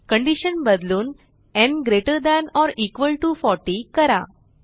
condition बदलून न् greater than or equal to 40 करा